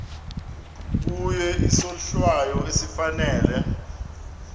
kuye isohlwayo esifanele